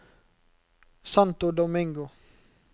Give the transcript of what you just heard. Santo Domingo